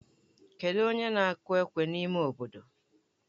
Kedụ onye na-akụ ekwe n'ime obodo?